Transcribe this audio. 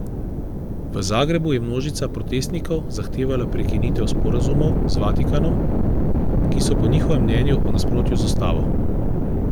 V Zagrebu je množica protestnikov zahtevala prekinitev sporazumov z Vatikanom, ki so po njihovem mnenju v nasprotju z ustavo.